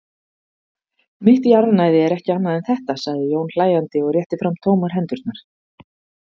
Mitt jarðnæði er ekki annað en þetta, sagði Jón hlæjandi og rétti fram tómar hendurnar.